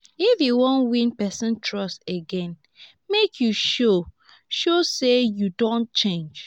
if you wan win pesin trust again make you show show sey you don change.